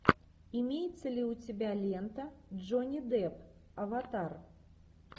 имеется ли у тебя лента джонни депп аватар